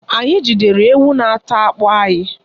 Anyị jidere ewu na-ata akpụ anyị.